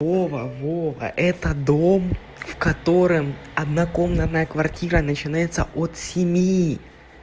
вова вова это дом в котором однокомнатная квартира начинается от семи